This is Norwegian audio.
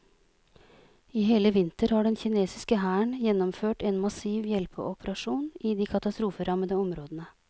I hele vinter har den kinesiske hæren gjennomført en massiv hjelpeoperasjon i de katastroferammede områdene.